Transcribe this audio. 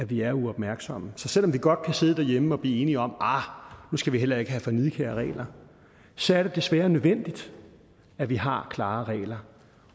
vi er uopmærksomme så selv om vi godt kan sidde derhjemme og blive enige om at arh nu skal vi heller ikke have for nidkære regler så er det desværre nødvendigt at vi har klare regler